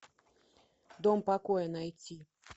дом покоя найти